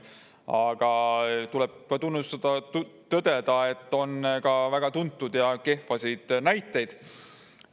Aga tuleb tunnistada, tõdeda, et on ka väga tuntud kehvasid näiteid.